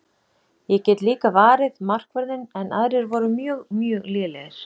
Ég get líka varið markvörðinn en aðrir voru mjög mjög lélegir.